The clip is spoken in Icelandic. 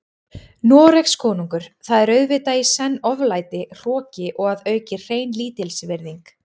Noregskonungur, það er auðvitað í senn oflæti, hroki og að auki hrein lítilsvirðing.